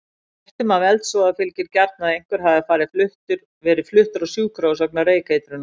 Fréttum af eldsvoða fylgir gjarnan að einhver hafi verið fluttur á sjúkrahús vegna reykeitrunar.